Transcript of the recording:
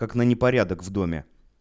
как на непорядок в доме